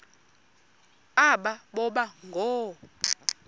aba boba ngoo